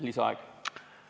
Lisaaeg!